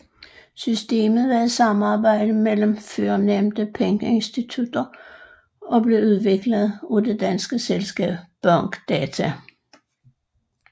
Systemet var et samarbejde mellem førnævnte pengeinstitutter og blev udviklet af det danske selskab Bankdata